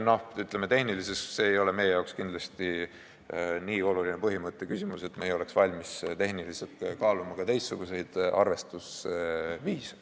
Kuid see ei ole meie jaoks kindlasti nii oluline põhimõtte küsimus, et me ei oleks valmis kaaluma ka tehniliselt teistsuguseid arvestusviise.